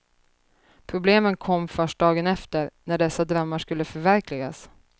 Problemen kom först dagen efter, när dessa drömmar skulle förverkligas.